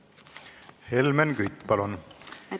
Helmen Kütt, palun!